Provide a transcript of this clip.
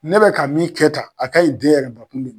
Ne bɛ ka min kɛ tan a kaɲi den yɛrɛ bakun de ma